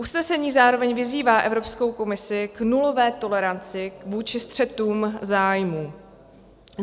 Usnesení zároveň vyzývá Evropskou komisi k nulové toleranci vůči střetům zájmů.